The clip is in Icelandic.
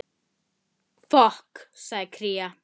Þau eiga von á mér.